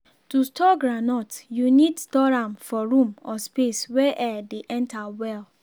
to store groundnut you need store am for room or space wey air dey enter well.